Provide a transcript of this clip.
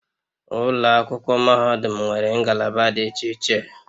Ụlọ akwụkwọ mahadum nwere ngalaba dị iche iche